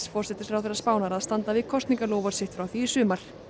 forsætisráðherra Spánar að standa við kosningaloforð sitt frá því í sumar